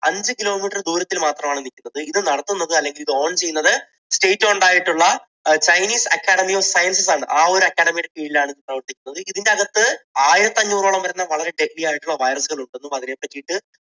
അഞ്ചു kilometre ദൂരത്തിൽ മാത്രമാണ് നിൽക്കുന്നത്. ഇത് നടത്തുന്നത് അല്ലെങ്കിൽ ഇത് own ചെയ്യുന്നത് state owned ആയിട്ടുള്ള chinese academy of sciences ആണ്. ആ ഒരു academy യുടെ കീഴിൽ ആണ് ഇത് പ്രവർത്തിക്കുന്നത് ഇതിനകത്ത് ആയിരത്തിഅഞ്ഞൂറോളം വരുന്ന വളരെ heavy ആയിട്ട് വരുന്ന virus കൾ ഉണ്ടെന്നും അതിനെപ്പറ്റിയിട്ട്